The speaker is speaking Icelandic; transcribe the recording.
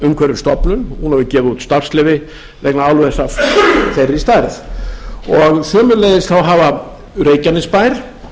umhverfisstofnun hefur gefið út starfsleyfi vegna álvers af sömu stærð þá hafa sveitarfélögin reykjanesbær